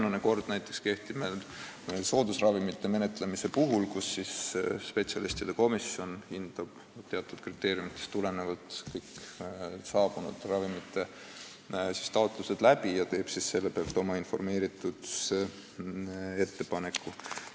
Sarnane kord näiteks kehtib soodusravimite menetlemisel: spetsialistide komisjon hindab teatud kriteeriumidest tulenevalt kõiki saabunud ravimitaotlusi ja teeb nende alusel oma põhjendatud ettepaneku.